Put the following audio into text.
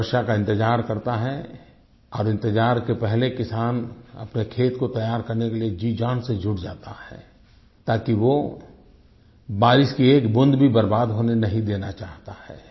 वो वर्षा का इंतजार करता है और इंतजार के पहले किसान अपने खेत को तैयार करने के लिए जीजान से जुट जाता है ताकि वो बारिश की एक बूंद भी बर्बाद नहीं होने देना चाहता है